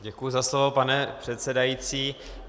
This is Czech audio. Děkuji za slovo, pane předsedající.